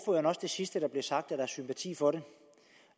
det sidste der blev sagt at der er sympati for det